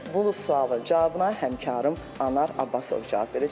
Bu sualın cavabına həmkarım Anar Abbasov cavab verəcək.